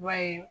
I b'a ye